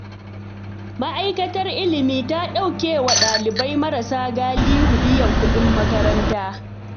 Ma'aikatar Ilimi ta ɗauke wa ɗalibai marasa galihu biyan kuɗin makaranta.